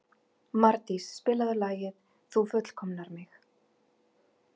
Mardís, spilaðu lagið „Þú fullkomnar mig“.